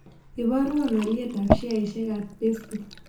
Iboruon alyetap sheaisiekap pacebook